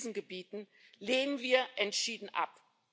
in Krisengebieten lehnen wir entschieden ab.